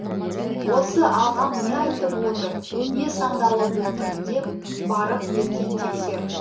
осы ағам не айтып отыр не сандалып отыр деп барып ертең тексер